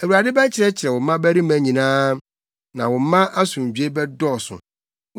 Awurade bɛkyerɛkyerɛ wo mmabarima nyinaa, na wo mma asomdwoe bɛdɔɔso.